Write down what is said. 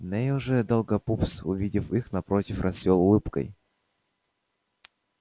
невилл же долгопупс увидев их напротив расцвёл улыбкой